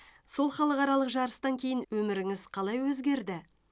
сол халықаралық жарыстан кейін өміріңіз қалай өзгерді